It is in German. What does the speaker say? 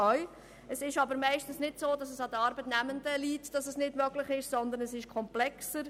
Meistens liegt es aber nicht an den Arbeitnehmenden, dass dies nicht möglich ist, sondern es ist komplexer.